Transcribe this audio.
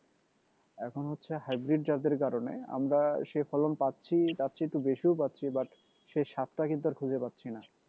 এখন হচ্ছে hybrid জাতের কারণে আমরা সে ফলন পাচ্ছি তার চেয়ে একটু বেশিও পাচ্ছি but সে স্বাদটা কিন্তু আর খুজে পাচ্ছিনা